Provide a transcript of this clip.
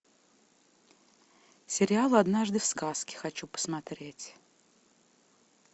сериал однажды в сказке хочу посмотреть